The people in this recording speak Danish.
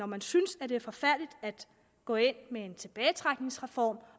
man synes det det er forfærdeligt at gå ind med en tilbagetrækningsreform